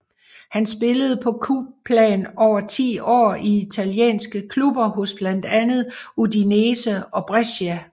Han spillede på klubplan over ti år i italienske klubber hos blandt andet Udinese og Brescia